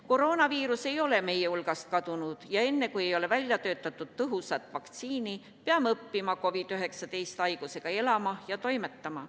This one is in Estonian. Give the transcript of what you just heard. Koroonaviirus ei ole meie hulgast kadunud ja enne, kui ei ole välja töötatud tõhusat vaktsiini, peame õppima COVID-19 haigusega elama ja toimetama.